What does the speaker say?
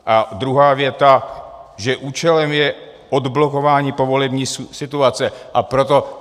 A druhá věta, že účelem je odblokování povolební situace, a proto...